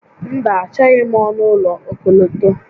Mba, Achọghị m ọnụ ụlọ okọlọtọ